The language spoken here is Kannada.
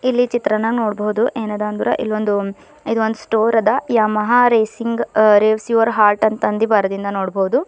ಇಲ್ಲಿ ಚಿತ್ರನಾಗ್ ನೋಡ್ಬೋದು ಏನ ಅದ ಅಂದ್ರ ಇಲ್ ಒಂದು ಇದೊಂದ ಸ್ಟೋರ್ ಅದ Yamaha racing uh race your heart ಅಂತ ಬರೆದಿಂದ್ ನೋಡ್ಬೋದು.